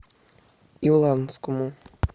иланскому